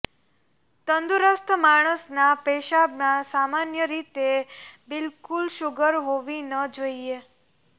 તંદુરસ્ત માણસના પેશાબમાં સામાન્ય રીતે બિલકુલ શુગર હોવી ન જોઇએ